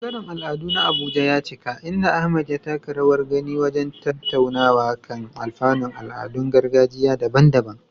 Ɓangaren al'adu na Abuja ya cika, inda Ahmad ya taka rawar gani wajen tattaunawa kan alfanun al'adun gargajiya daban-daban.